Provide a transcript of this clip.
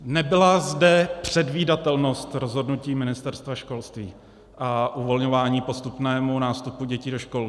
Nebyla zde předvídatelnost rozhodnutí Ministerstva školství a uvolňování postupnému nástupu dětí do škol.